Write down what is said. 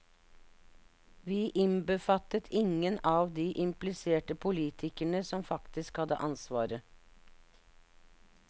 Vi innbefattet ingen av de impliserte politikerne, som faktisk hadde ansvaret.